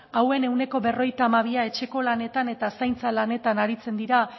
hauen ehuneko berrogeita hamabia etxeko lanetan eta zaintza lanetan aritzen dira